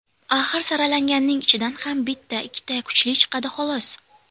Axir saralanganning ichidan ham bitta, ikkita kuchli chiqadi xolos.